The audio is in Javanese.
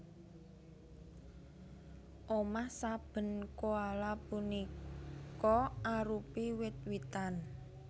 Omah saben koala punika arupi wit witan